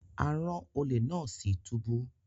A ran ole náà lọ sí túbú